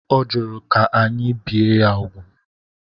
Ọ jụrụ ka anyị bịe ya úgwù.